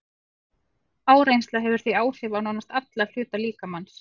Áreynsla hefur því áhrif á nánast alla hluta líkamans.